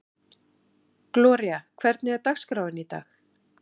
Gloría, hvernig er dagskráin í dag?